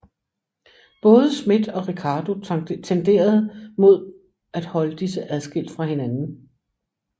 Både Smith og Ricardo tenderede mod at holde disse adskilt fra hinanden